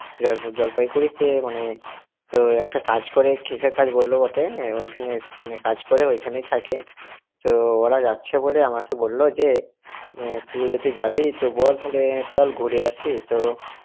জল্পাইগুরিতে মানে তো একটা কাজ করে, কিসের কাজ বলল বটে, হ্যাঁ ওইখানে~ ওইখানে কাজ করে ওইখানেই থাকে, তো ওরা যাচ্ছে বলে আমাকে বলল যে, শুভজ্যোতি যাবি তো বল তাহলে, চল ঘুরে আসি। তো